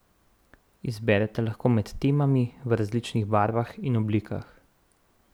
Izberete lahko med temami v različnih barvah in oblikah.